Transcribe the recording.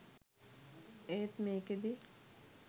ඒත් මේකෙදි